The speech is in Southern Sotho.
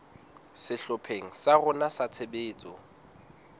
sehlopheng sa rona sa tshebetso